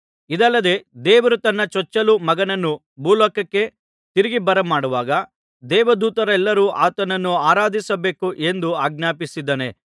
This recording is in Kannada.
ಇದಲ್ಲದೆ ದೇವರು ತನ್ನ ಚೊಚ್ಚಲು ಮಗನನ್ನು ಭೂಲೋಕಕ್ಕೆ ತಿರುಗಿ ಬರಮಾಡುವಾಗ ದೇವದೂತರೆಲ್ಲರೂ ಆತನನ್ನು ಆರಾಧಿಸಬೇಕು ಎಂದು ಆಜ್ಞಾಪಿಸಿದ್ದಾನೆ